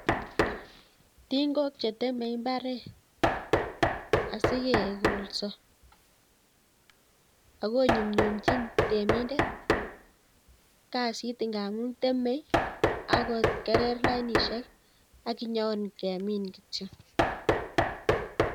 Tingook cheteme imbaaret asikegoolsoo, akonyumnyumchin temindet kasit ngamun temee ak kogerer lainishiek ak inyon kemin kityok